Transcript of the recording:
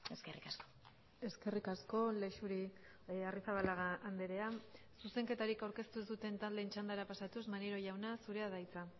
eskerrik asko eskerrik asko lexuri arrizabalaga andrea zuzenketarik aurkeztu ez duten taldeen txandara pasatuz maneiro jauna zurea da hitza